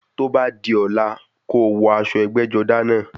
Tó bá di ọ̀la, kó o wọ aṣọ ẹgbẹ́-jọdá náà.